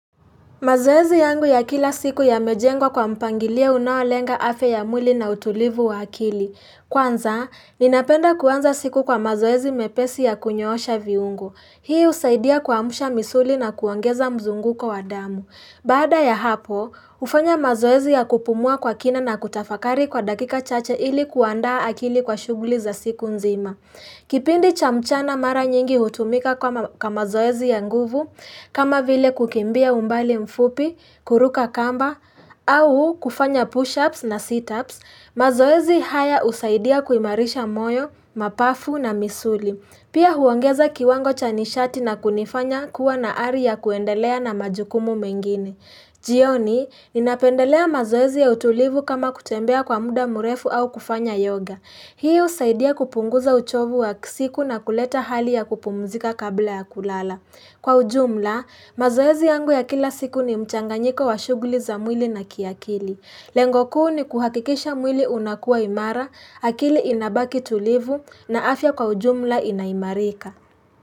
Mazoezi yangu ya kila siku ya mejengwa kwa mpangilio unaoalenga afya ya mwili na utulivu wa akili. Kwanza, ninapenda kuanza siku kwa mazoezi mepesi ya kunyoosha viungo. Hii usaidia kuamsha misuli na kuongeza mzunguko damu. Baada ya hapo, hufanya mazoezi ya kupumua kwa kina na kutafakari kwa dakika chache ili kuandaa akili kwa shughuli za siku nzima. Kipindi cha mchana mara nyingi hutumika kama zoezi ya nguvu, kama vile kukimbia umbali mfupi, kuruka kamba, au kufanya push-ups na sit-ups, mazoezi haya husaidia kuimarisha moyo, mapafu na misuli. Pia huongeza kiwango chanishati na kunifanya kuwa na hali ya kuendelea na majukumu mengine. Jioni, ninapendelea mazoezi ya utulivu kama kutembea kwa muda mrefu au kufanya yoga. Hii husaidia kupunguza uchovu wa siku na kuleta hali ya kupumzika kabla ya kulala. Kwa ujumla, mazoezi yangu ya kila siku ni mchanganyiko wa shughuli za mwili na kiakili. Lengo kuu ni kuhakikisha mwili unakua imara, akili inabaki tulivu na afya kwa ujumla inaimarika.